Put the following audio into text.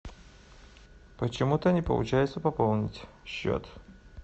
почему то не получается пополнить счет